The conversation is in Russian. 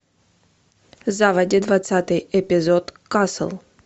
заводи двадцатый эпизод касл